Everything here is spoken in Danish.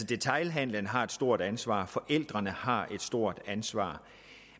detailhandelen har et stort ansvar forældrene har et stort ansvar